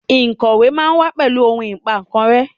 Ikọwe ma wa pẹlu ohun Ìpà kan rẹ́